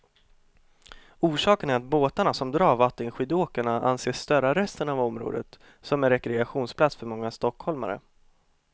Orsaken är att båtarna som drar vattenskidåkarna anses störa resten av området, som är rekreationsplats för många stockholmare.